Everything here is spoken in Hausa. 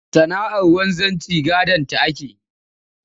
Sana'ar wanzanci gadonta ake yi